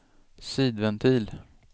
sidventil